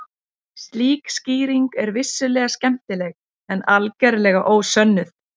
Slík skýring er vissulega skemmtileg en algerlega ósönnuð.